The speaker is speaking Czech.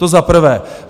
To za prvé.